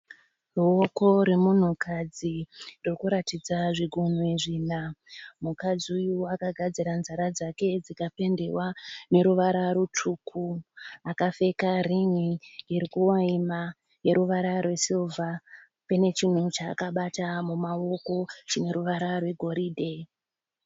Ruoko rwemunhukadzi rurikuratidza zvigunwe zvina. Mukadzi uyu akagadzira nzara dzake dzikapendiwa neruvara rutsvuku. Akapfeka rin'i irikuvaima ineruvara rwesirivha. Pane chinhu chaakabata mumaoko chineruvara rwegoridhe.